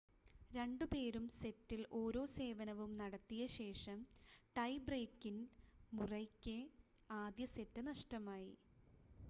രണ്ടുപേരും സെറ്റിൽ ഓരോ സേവനവും നടത്തിയ ശേഷം ടൈ ബ്രേക്കിൽ മുറെയ്ക്ക് ആദ്യ സെറ്റ് നഷ്ടമായി